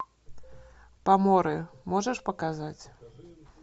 поморы можешь показать